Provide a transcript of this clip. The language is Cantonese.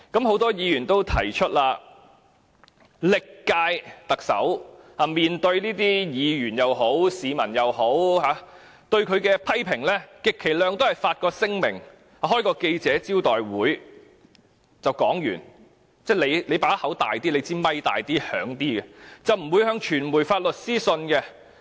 很多議員也曾提出，歷屆特首面對議員或市民的批評時，充其量只會發出聲明或召開記者招待會解釋事件，透過麥克風發表意見，不會向傳媒發律師信。